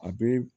A bɛ